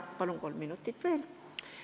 Palun kolm minutit veel!